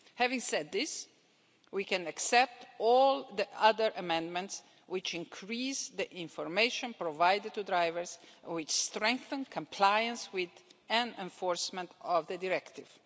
Having said this, we can accept all the other amendments which increase the information provided to drivers and which strengthen compliance with and enforcement of the directive.